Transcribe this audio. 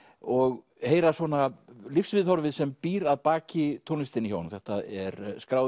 og heyra svona lífsviðhorfið sem býr að baki tónlistinni hjá honum þetta er skráð